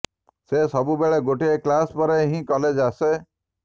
ସେ ସବୁ ବେଳେ ଗୋଟାଏ କ୍ଲାସ ପରେ ହିଁ କଲେଜ ଆସେ